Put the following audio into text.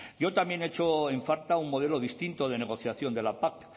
yo también echo en falta un modelo distinto de negociación de la pac